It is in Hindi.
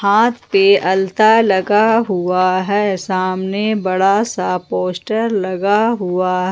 हाथ पे अलता लगा हुआ है सामने बड़ा सा पोस्टर लगा हुआ